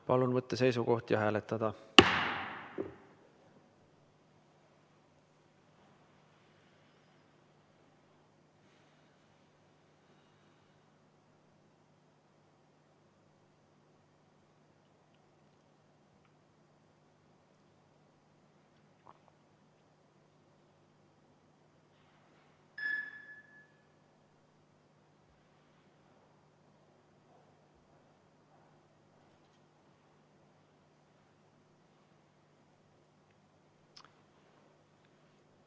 Palun võtta seisukoht ja hääletada!